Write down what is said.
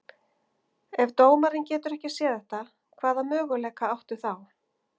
Ef dómarinn getur ekki séð þetta, hvaða möguleika áttu þá?